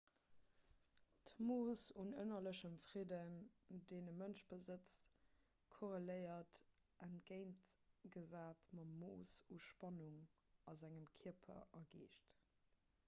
d'mooss un ënnerlechem fridden deen e mënsch besëtzt korreléiert entgéintgesat mam mooss u spannung a sengem kierper a geescht